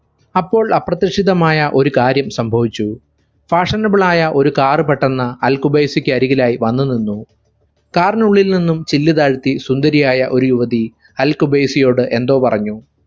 അപ്പോൾ അപ്രതീക്ഷിതമായ ഒരു കാര്യം സംഭവിച്ചു fashionable ആയ ഒരു car പെട്ടെന്ന് അൽ ഖുബൈസിക്കരികിലായ് വന്നു നിന്നു. car നുള്ളിൽ നിന്നും ചില്ല് താഴ്ത്തി സുന്ദരിയായ ഒരു യുവതി അൽ ഖുബൈസിയോട് എന്തോ പറഞ്ഞു.